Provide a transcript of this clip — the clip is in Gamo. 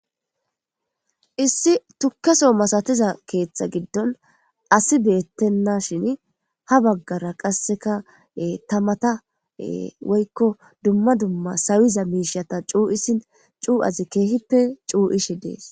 issi tukkaso masatiza keeththa giddon asi beettenna shin ha baggara qasseka tamata woykko dumma dumma sawiza miishata cuu7isin cuu7azi keehippe cuu7ishi dees